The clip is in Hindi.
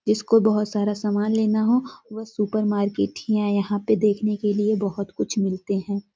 जिसको बोहोत सारा सामान लेना हो वह सुपर मार्केट ही आए यहाँ पे देखने के लिए बोहोत कुछ मिलते हैं।